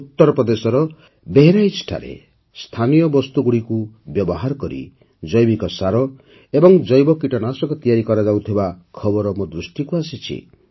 ଉତ୍ତରପ୍ରଦେଶର ବେହେରାଇଚ୍ଠାରେ ସ୍ଥାନୀୟ ବସ୍ତୁଗୁଡ଼ିକୁ ବ୍ୟବହାର କରି ଜୈବିକ ସାର ଏବଂ ଜୈବ କୀଟନାଶକ ତିଆରି କରାଯାଉଥିବା ଖବର ମୋ ଦୃଷ୍ଟିକୁ ଆସିଛି